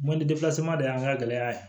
de y'an ka gɛlɛya ye